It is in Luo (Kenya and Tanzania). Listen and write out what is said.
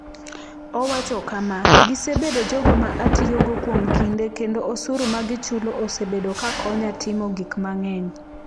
Owacho kama: “Gisebedo jogo ma atiyogo kuom kinde kendo osuru ma gichulo osebedo ka konya timo gik mang’eny.”